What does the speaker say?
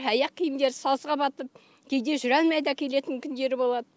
аяқ киімдері сазға батып кейде жүре алмай да келетін күндері болады